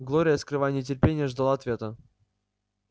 глория скрывая нетерпение ждала ответа